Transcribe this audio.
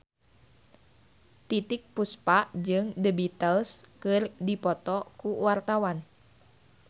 Titiek Puspa jeung The Beatles keur dipoto ku wartawan